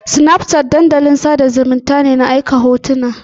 Snapchat dandalin sada zumunnta ne na aika hotuna